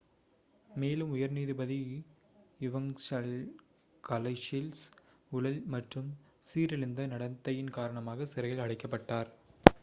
மேலும் உயர் நீதிபதி இவங்சலஸ் கலௌசிஸ் ஊழல் மற்றும் சீரழிந்த நடத்தையின் காரணமாக சிறையில் அடைக்கப்பட்டார்